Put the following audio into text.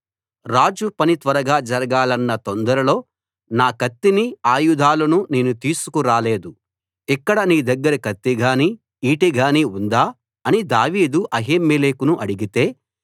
రాజు పని త్వరగా జరగాలన్న తొందరలో నా కత్తిని ఆయుధాలను నేను తీసుకు రాలేదు ఇక్కడ నీ దగ్గర కత్తి గానీ ఈటె గానీ ఉందా అని దావీదు అహీమెలెకును అడిగితే